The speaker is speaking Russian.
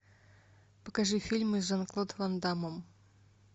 покажи фильмы с жан клод ван даммом